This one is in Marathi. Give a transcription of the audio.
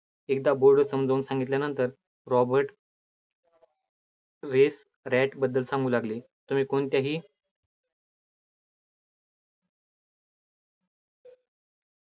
एकदा board वर समजून सांगितल्यानंतर, रॉबर्ट wet rat बद्दल सांगू लागले, तुम्ही कोणत्याही